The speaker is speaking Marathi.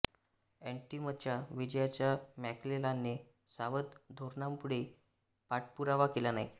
ऍंटिटमच्या विजयाचा मॅक्लेलानने सावध धोरणामुळे पाठपुरावा केला नाही